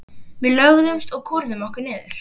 Við lögðumst og kúrðum okkur niður.